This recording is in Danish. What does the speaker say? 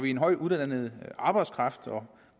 en højt uddannet arbejdskraft og